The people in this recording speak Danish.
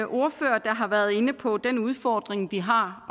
ordførere der har været inde på den udfordring vi har